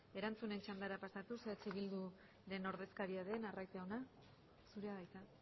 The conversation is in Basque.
erantzunen txandara pasatuz eh bildu taldearen ordezkaria den arraiz jauna zurea da hitza